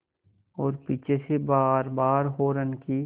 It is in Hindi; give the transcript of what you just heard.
और पीछे से बारबार हार्न की